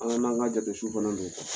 An n'an ka jate su fana don kuwa